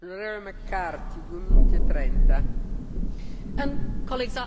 Madam President,